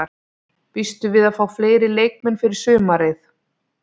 Býstu við að fá fleiri leikmenn fyrir sumarið?